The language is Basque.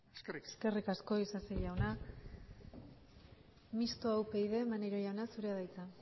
eskerrik asko eskerrik asko isasi jauna mistoa upyd maneiro jauna zurea da hitza